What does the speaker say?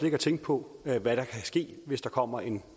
ikke tænke på hvad der kan ske hvis der kommer en